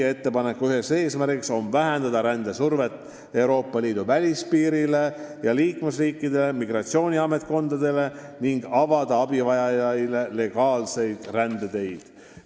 Üks ettepaneku eesmärk on vähendada rändesurvet Euroopa Liidu välispiirile ja liikmesriikide migratsiooniametkondadele ning avada abivajajaile legaalseid rändeteid.